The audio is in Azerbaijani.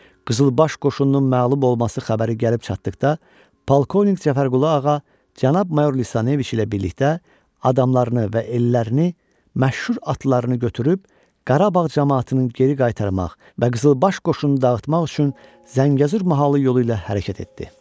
Qızılbaş qoşununun məğlub olması xəbəri gəlib çatdıqda, polkovnik Cəfərqulu ağa cənab mayor Lisaneviç ilə birlikdə adamlarını və ellərini məşhur atlarını götürüb Qarabağ camaatının geri qaytarmaq və qızılbaş qoşunu dağıtmaq üçün Zəngəzur mahalı yolu ilə hərəkət etdi.